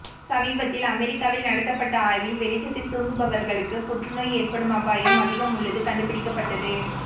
சமீபத்தில் அமெரிக்காவில் நடத்தப்பட்ட ஆய்வில் வெளிச்சத்தில் தூங்குவபவர்களுக்கு புற்றுநோய் ஏற்படும் அபாயம் அதிகமுள்ளது கண்டுபிடிக்கட்டது